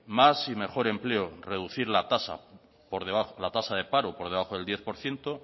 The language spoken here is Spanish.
más y mejor empleo reducir la tasa de paro por debajo del diez por ciento